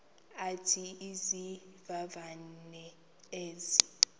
athi izivivane ezi